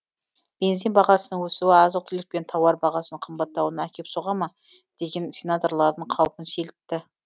бензин бағасының өсуі азық түлік пен тауар бағасының қымбаттауына әкеп соға ма деген сенаторлардың қаупін сейілтті